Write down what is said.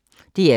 DR2